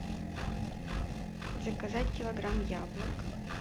заказать килограмм яблок